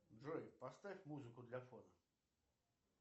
джой поставь музыку для фона